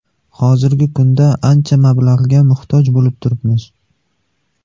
Hozirgi kunda ancha mablag‘ga muhtoj bo‘lib turibmiz.